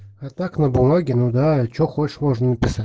а так на бумаге ну да что хочешь можно написать